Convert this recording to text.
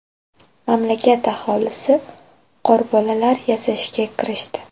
Mamlakat aholisi qorbolalar yasashga kirishdi.